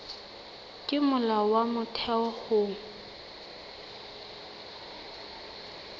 ke molao wa motheo ho